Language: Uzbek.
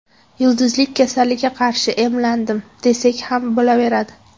Yulduzlik kasalligiga qarshi emlandim, desak ham bo‘laveradi”.